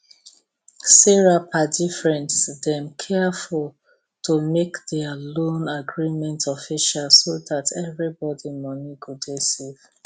sarah padi friends dem careful to make their loan agreement official so that everybody money go dey safe